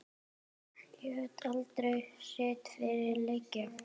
Lét aldrei sitt eftir liggja.